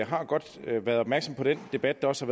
har godt været opmærksomme på den debat der også